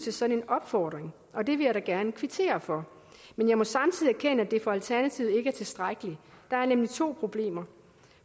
en sådan opfordring og det vil jeg da gerne kvittere for men jeg må samtidig erkende at det for alternativet ikke er tilstrækkeligt der er nemlig to problemer